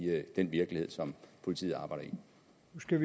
den virkelighed som politiet arbejder